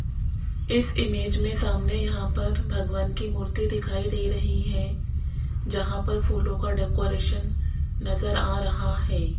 इस इमेज में सामने यहां पर भगवान की मूर्ति दिखाई दे रही है जहां पर फूलों का डेकोरेशन नजर आ रहा है।